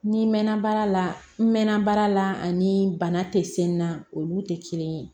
Ni mɛnna baara la n mɛnna baara la ani bana tɛ se n na olu tɛ kelen ye